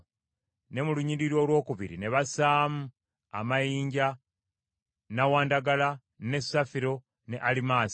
ne mu lunyiriri olwokubiri bassaamu amayinja: nnawandagala, ne safiro ne alimaasi;